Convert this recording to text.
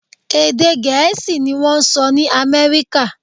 Èdè Gẹ̀ẹ́sì ni wọ́n ń sọ ní Amẹ́ríkà